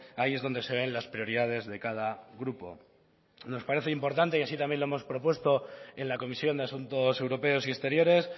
ahí es donde se ven las prioridades de cada grupo nos parece importante y así también lo hemos propuesto en la comisión de asuntos europeos y exteriores